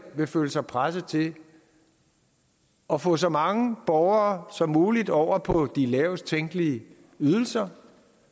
vil føle sig presset til at få så mange borgere som muligt over på de lavest tænkelige ydelser